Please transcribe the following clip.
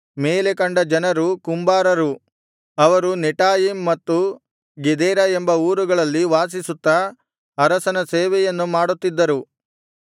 ಮೇಲೆ ಕಂಡ ಜನರು ಕುಂಬಾರರು ಅವರು ನೆಟಾಯಿಮ್ ಮತ್ತು ಗೆದೇರ ಎಂಬ ಊರುಗಳಲ್ಲಿ ವಾಸಿಸುತ್ತಾ ಅರಸನ ಸೇವೆಯನ್ನು ಮಾಡುತ್ತಿದ್ದರು